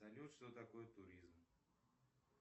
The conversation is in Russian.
салют что такое туризм